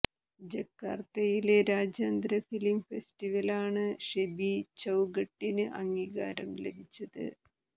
ജക്കാർത്തയിലെ രാജ്യാന്തര ഫിലിം ഫെസ്റ്റിവലിലാണ് ഷെബി ചൌഘട്ടിന് അംഗീകാരം ലഭിച്ചത്